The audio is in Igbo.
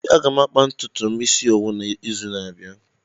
Ee, aga m akpa ntutu m isi owu n'izu n'abịa.